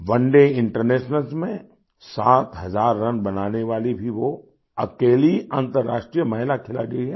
One day internationals में सात हजार रन बनाने वाली भी वो अकेली अंतर्राष्ट्रीय महिला खिलाड़ी हैं